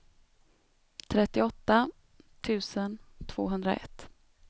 trettioåtta tusen tvåhundraett